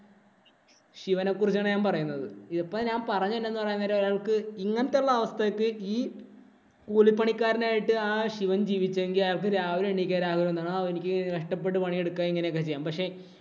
ശിവനെ കുറിച്ചാണ് ഞാന്‍ പറയുന്നത്. ഇപ്പം ഞാന്‍ പറഞ്ഞേ എന്താണെന്നു പറയാൻ നേരം അയാള്‍ക്ക് ഇങ്ങനത്തെയുള്ള അവസ്ഥയ്ക്ക് ഈ കൂലിപ്പണിക്കാരനായിട്ടു ആ ശിവന്‍ ജീവിച്ചെങ്കില്‍ അയാള്‍ക്ക് രാവിലെ എണ്ണീക്കാന്‍ കഷ്ടപ്പെട്ട് പണിയെടുക്കുക അങ്ങനെയൊക്കെ ചെയ്യും. പക്ഷേ,